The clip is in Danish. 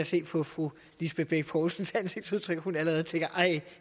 se på fru lisbeth bech poulsens ansigtsudtryk at hun allerede tænker